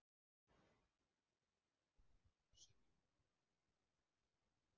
Kristinn: Þetta blossar upp á örfáum mínútum?